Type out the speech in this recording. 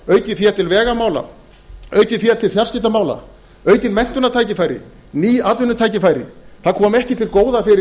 aukið fé til vegamála aukið fé til fjarskiptamála aukin menntunartækifæri ný atvinnutækifæri það komi ekki til góða fyrir